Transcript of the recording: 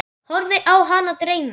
Horfi á hana dreyma.